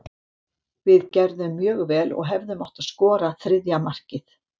Við gerðum mjög vel og hefðum átt að skora þriðja markið.